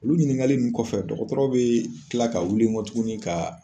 Olu ɲininkali nu kɔfɛ dɔgɔtɔrɔ be kila ka wuli kɔ tuguni ka